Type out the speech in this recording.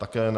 Také ne.